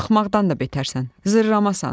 Axmaqdan da betərsən, zırramasan.